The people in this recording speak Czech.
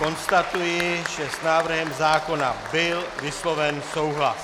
Konstatuji, že s návrhem zákona byl vysloven souhlas